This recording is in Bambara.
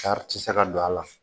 tɛ se ka don a la